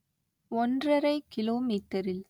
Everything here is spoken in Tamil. ஒன்றரை கிலோமீட்டரில்